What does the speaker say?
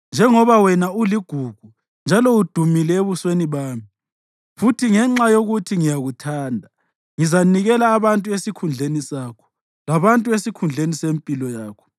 Njengoba wena uligugu njalo udumile ebusweni bami, futhi ngenxa yokuthi ngiyakuthanda, ngizanikela abantu esikhundleni sakho, labantu esikhundleni sempilo yakho.